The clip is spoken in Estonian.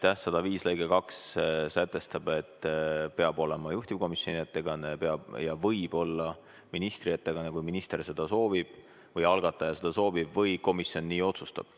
§ 105 lõige 2 sätestab, et peab olema juhtivkomisjoni ettekanne ja võib olla ministri ettekanne, kui minister algatajana seda soovib või kui komisjon nii otsustab.